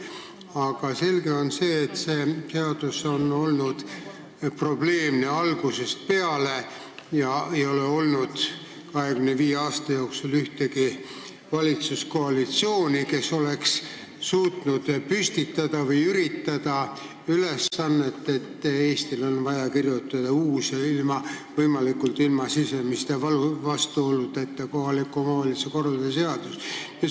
Aga selge on see, et see seadus on olnud probleemne algusest peale ja 25 aasta jooksul ei ole olnud ühtegi valitsuskoalitsiooni, kes oleks suutnud püstitada seda ülesannet, et üritada kirjutada uus ja võimalikult ilma sisemiste vastuoludeta kohaliku omavalitsuse korralduse seadus.